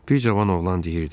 Bir cavan oğlan deyirdi.